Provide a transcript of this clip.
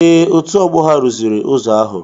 Ee, otu ọgbọ ha rụziri ụzọ ahụ.